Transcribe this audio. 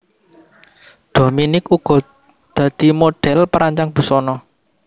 Dominique uga dadi modhèl perancang busana